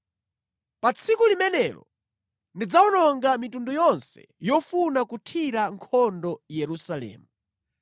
Pa tsiku limenelo ndidzawononga mitundu yonse yofuna kuthira nkhondo Yerusalemu.